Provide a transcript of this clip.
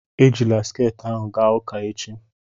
Ejila sket ahụ gaa ụka echi!